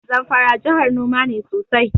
Zamfara jahar noma ne sosai.